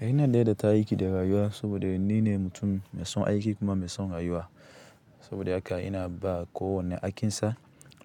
Ina daidaita aikida rayuwa saboda ni ne mutum mai son aiki kuma mai son rayuwa. Saboda haka ina ba kowanne aikinsa